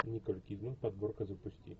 николь кидман подборка запусти